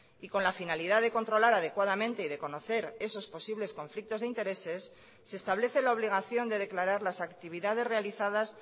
y con la finalidad de controlar adecuadamente y de conocer esos posibles conflictos de intereses se establece la obligación de declarar las actividades realizadas